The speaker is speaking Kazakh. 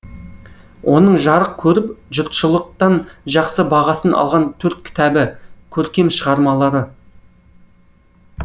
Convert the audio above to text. оның жарық көріп жұртшылықтан жақсы бағасын алған төрт кітабы көркем шығармалары